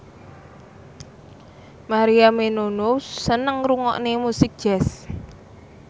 Maria Menounos seneng ngrungokne musik jazz